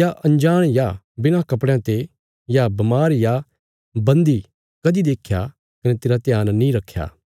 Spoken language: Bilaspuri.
या अंजाण या बिणा कपड़यां ते या बमार या बन्दी कदीं देख्या कने तेरा ध्यान नीं रखया